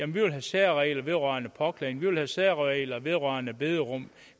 vi vil have særregler vedrørende påklædning vi vil have særregler vedrørende bederum